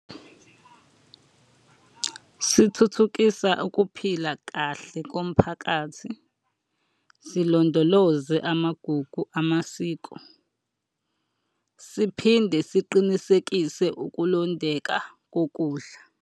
Sithuthukisa ukuphila kahle komphakathi. Silondoloze amagugu amasiko. Siphinde siqinisekise ukulondeka kokudla.